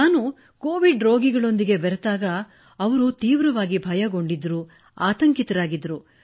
ನಾನು ಕೋವಿಡ್ ರೋಗಿಗಳೊಂದಿಗೆ ಬೆರೆತಾಗ ಅವರು ತೀವ್ರವಾಗಿ ಭಯಗೊಂಡಿದ್ದರು ಆತಂಕಿತರಾಗಿದ್ದರು